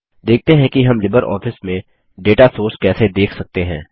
देखते हैं कि हम लिबरऑफिस में डेटा सोर्स कैसे देख सकते हैं